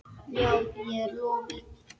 Já, ég er lofuð.